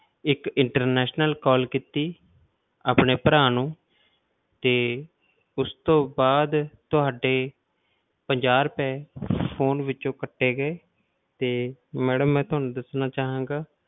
ਇੱਕ international call ਕੀਤੀ ਆਪਣੇ ਭਰਾ ਨੂੰ ਤੇ ਉਸ ਤੋਂ ਬਾਅਦ ਤੁਹਾਡੇ ਪੰਜਾਹ ਰੁਪਏ phone ਵਿੱਚੋਂ ਕੱਟੇ ਗਏ ਤੇ madam ਮੈਂ ਤੁਹਾਨੂੰ ਦੱਸਣਾ ਚਾਹਾਂਗਾ